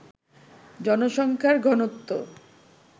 জনসংখ্যার ঘনত্ব